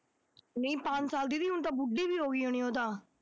ਨਹੀਂ ਪੰਜ ਸਾਲ ਦੀ ਨਹੀਂ, ਹੁਣ ਤਾਂ ਬੁੱਢੀ ਵੀ ਹੋ ਗਈ ਹੋਣੀ ਉਹ ਤਾਂ